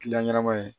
ɲɛnɛma ye